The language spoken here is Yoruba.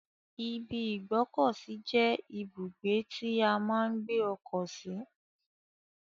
ibi ìgbọ́kọ̀sí je ibugbe ti a maa n gbe oko si.